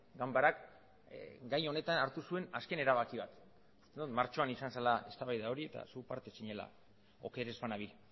ganbarak gai honetan hartu zuen azken erabaki bat uste dut martxoan izan zela eztabaida hori eta zuk parte zinela oker ez banabil